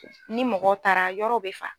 Ni mɔgɔw taara yɔrɔw bɛ fa.